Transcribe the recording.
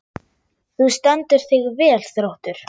Þú stendur þig vel, Þróttur!